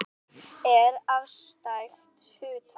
Fegurð er afstætt hugtak.